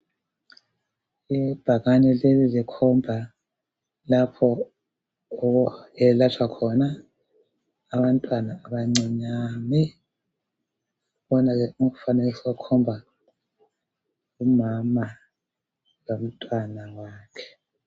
Ibhakane leli likhomba lapho okuyelatshwa khona abantwana abancinyane. Kukhona ke umfanekiso okhomba umama lomntwana wakhe.